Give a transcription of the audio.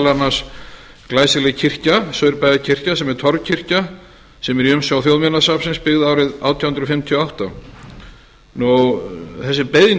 annars glæsileg kirkja saurbæjarkirkja sem er torfkirkja sem er í umsjá þjóðminjasafnsins byggð árið átján hundruð fimmtíu og átta þessi beiðni